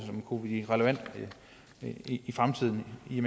kunne blive relevant i fremtiden i